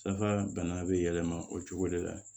Safa bana bɛ yɛlɛma o cogo de la